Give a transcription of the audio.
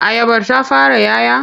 Ayabar ta fara 'ya 'ya?